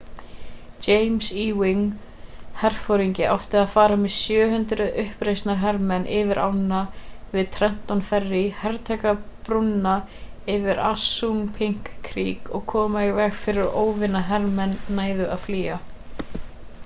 james ewing herforingi átti að fara með 700 uppreisnarhermenn yfir ána við trenton ferry hertaka brúna yfir assunpink creek og koma í veg fyrir að óvinahermenn næðu að flýja